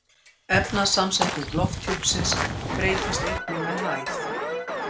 Efnasamsetning lofthjúpsins breytist einnig með hæð.